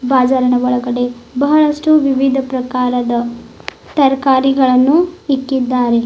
ಬಾಜಾರನ ಒಳಗಡೆ ಬಹಳಷ್ಟು ವಿವಿಧ ಪ್ರಕಾರದ ತರಕಾರಿಗಳನ್ನು ಇಕ್ಕಿದ್ದಾರೆ.